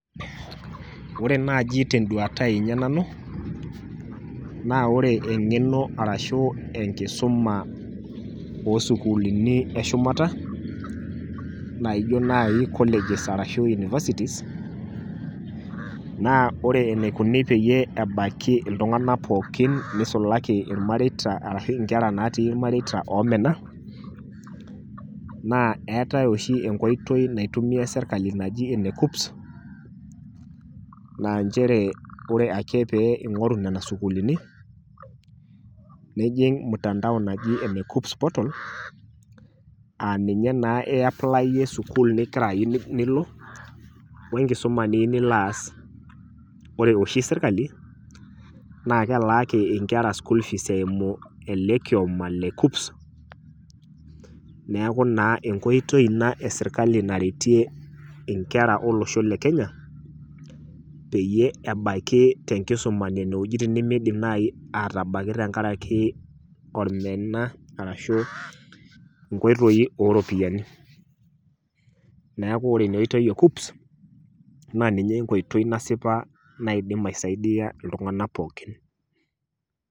Ore naji tenduata ai nanu naa naa ore engeno ashu enkisuma osukuulini eshumata naijo nai colleges ashu universities naa ore enikoni peyie ebaiki iltunganak pookin nisulaki irmareita ashu inkera natii irmareita omena , naa eetae oshi enkoitoi naitumia sirkali naji ene kuccps naa nchere ore ake pee ingoru nena sukuulini, nijing mutandao naji ene kuccps portal aaninye naa iaplayie sukkul niyieu nilo wenkisuma niyieu nilo aas . Ore oshi sirkali naa kelaaki inkera school fees eimu ele kioma la kuccps neeku naa enkoitoi ina e sirkali naretie inkera olosho le kenya peyie ebakie tenkisuma nene wuejitin nemidim nai atabaiki tenkaraki ormena arashu nkoitoi oropiyiani. Neeku ore ina oitoi e kuccps naa ninye enkoitoi nasipa naidim aisaidia iltunganak pookin.